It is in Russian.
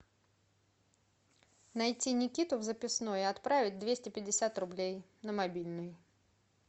найти никиту в записной и отправить двести пятьдесят рублей на мобильный